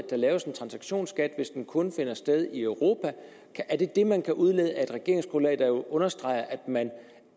laves en transaktionsskat hvis den kun gælder i europa er det det man kan udlede af et regeringsgrundlag der understreger at man